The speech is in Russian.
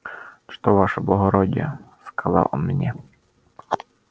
что ваше благородие сказал он мне